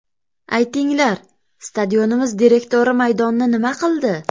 Aytinglar, stadionimiz direktori maydonni nima qildi?